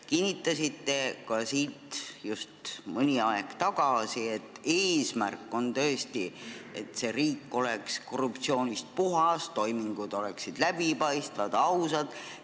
Kinnitasite siit just mõni aeg tagasi ka, et eesmärk on tõesti see, et meie riik oleks korruptsioonist puhas, toimingud oleksid läbipaistvad ja ausad.